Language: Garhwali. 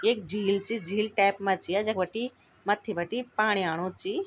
एक झील च झील टैप मा च या जख बटी मत्थि बटी पाणी आणू ची।